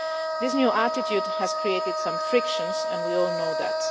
This new attitude has created some frictions and we all know that.